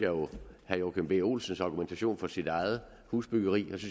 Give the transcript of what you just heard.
herre joachim b olsens argumentation for sit eget husbyggeri